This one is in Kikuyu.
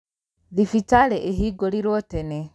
Thibitarĩĩhingũrirwo tene.